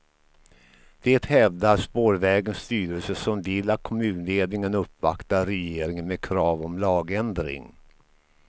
Det hävdar spårvägens styrelse som vill att kommunledningen uppvaktar regeringen med krav om lagändring.